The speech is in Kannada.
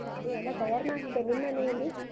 ಅದೆ ಎಲ್ಲ ತಯಾರ್ ಮಾಡ್ತಿದ್ದಾರೆ ನಿಮ್ಮನೆಯಲ್ಲಿ?